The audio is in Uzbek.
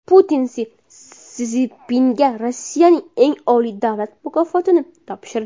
Putin Si Szinpinga Rossiyaning eng oliy davlat mukofotini topshirdi.